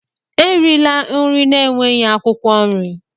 Erila nri na-enweghị akwụkwọ nri!